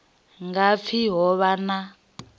nga pfi ho vha na